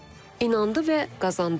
İnandı və qazandı.